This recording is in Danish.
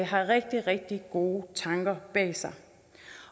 har rigtig rigtig gode tanker bag sig